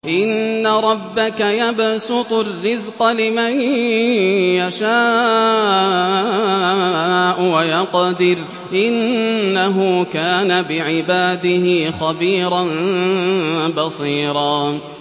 إِنَّ رَبَّكَ يَبْسُطُ الرِّزْقَ لِمَن يَشَاءُ وَيَقْدِرُ ۚ إِنَّهُ كَانَ بِعِبَادِهِ خَبِيرًا بَصِيرًا